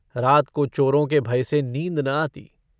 रात को चोरों के भय से नींद न आती।